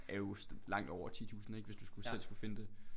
Er jo langt over 10 tusind ikke hvis du selv skulle selv skulle finde det